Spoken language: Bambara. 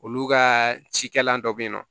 Olu ka cikɛlan dɔ bɛ yen nɔ